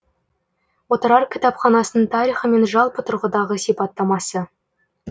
отырар кітапханасының тарихы мен жалпы тұрғыдағы сипаттамасы